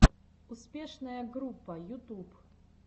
успешная группа ютуб